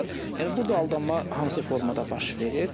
Yəni burda aldanma hansı formada baş verir?